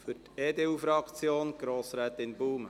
Ich steige gleich sportlich ein.